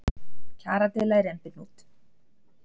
Kjaradeila í rembihnút